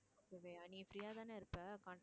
நீ free ஆ தானே இருப்ப